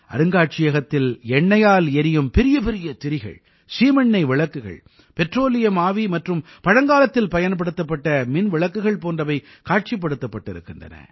அருங்காட்சியகத்தில் எண்ணையால் எரியும் பெரிய பெரிய திரிகள் சீமெண்ணெய் விளக்குகள் பெட்ரோலியம் ஆவி மற்றும் பழங்காலத்தில் பயன்படுத்தப்பட்ட மின் விளக்குகள் போன்றவை காட்சிப்படுத்தப்பட்டிருக்கின்றன